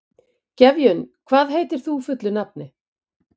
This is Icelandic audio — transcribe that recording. Gefjun, hvað heitir þú fullu nafni?